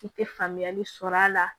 I tɛ faamuyali sɔrɔ a la